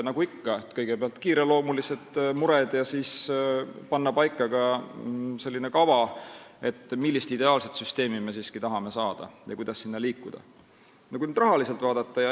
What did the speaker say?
Nagu ikka, kõigepealt on olulised kiireloomulised mured ja siis tuleb panna paika kava, millist ideaalset süsteemi me tahame saada ja kuidas selle poole liikuda.